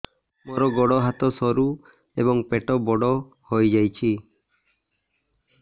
ମୋର ଗୋଡ ହାତ ସରୁ ଏବଂ ପେଟ ବଡ଼ ହୋଇଯାଇଛି